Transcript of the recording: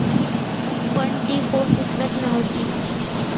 पण ती फोन उचलत नव्हती.